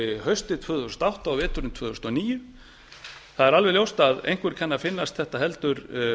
haustið tvö þúsund og átta og veturinn tvö þúsund og níu það er alveg ljóst að einhver kann að finnast þetta heldur